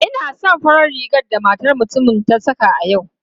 Ina son farar rigar da matar mutumin ta saka a yau.